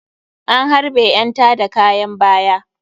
An harɓe ƴan tada kayan baya.